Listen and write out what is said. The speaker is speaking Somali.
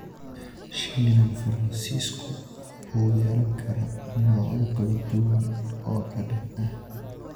Shiilan Faransiisku wuxuu yeelan karaa noocyo kala duwan oo dhadhan ah.